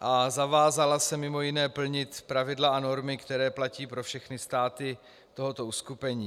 a zavázala se mimo jiné plnit pravidla a normy, které platí pro všechny státy tohoto uskupení.